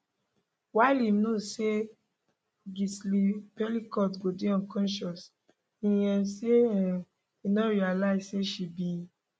while im know say gisle pelicot go dey unconscious e um say um e no realise say she bin